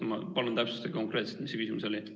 Ma palun, täpsustage konkreetselt, mis see küsimus oli!